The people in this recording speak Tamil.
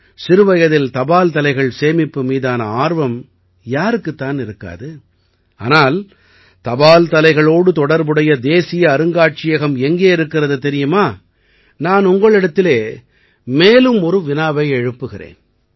சிறுவயதில் தபால் தலைகள் சேமிப்பு மீதான ஆர்வம் யாருக்குத் தான் இருக்காது ஆனால் தபால் தலைகளோடு தொடர்புடைய தேசிய அருங்காட்சியகம் எங்கே இருக்கிறது தெரியுமா நான் உங்களிடத்திலே மேலும் ஒரு வினாவை எழுப்புகிறேன்